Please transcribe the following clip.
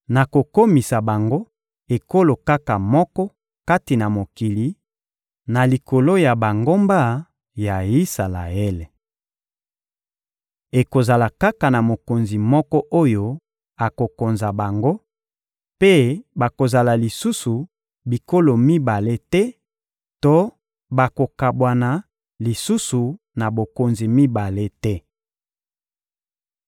Nakokomisa bango ekolo kaka moko kati na mokili, na likolo ya bangomba ya Isalaele. Ekozala kaka na mokonzi moko oyo akokonza bango; mpe bakozala lisusu bikolo mibale te to bakokabwana lisusu na bokonzi mibale te.